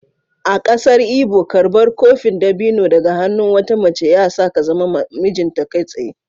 A kasar Igbo, karbar kofin dabino daga hannun wata mace ya sa ka zama mijinta kai tsaye.